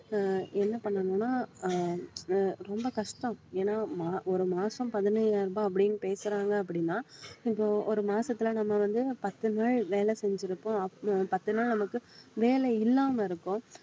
அஹ் என்ன பண்ணணும்ன்னா ஆஹ் அஹ் ரொம்ப கஷ்டம் ஏன்னா மா~ ஒரு மாசம் பதினையாயிரம் ரூபாய் அப்படின்னு பேசுறாங்க அப்படின்னா இப்போ ஒரு மாசத்திலே நம்ம வந்து பத்து நாள் வேலை செஞ்சிருப்போம் அப்~ அஹ் பத்து நாள் நமக்கு வேலை இல்லாம இருக்கும்